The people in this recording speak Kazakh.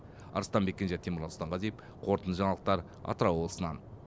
арыстанбек кенже темірлан сұлтанғазиев қорытынды жаңалықтар атырау облысынан